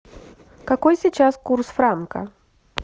какой сейчас курс франка